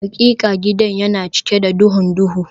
Hakika gidan yana cike da duhun duhu